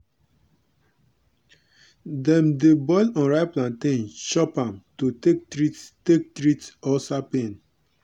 dem dey boil unripe plantain chop am to take treat take treat ulcer pain.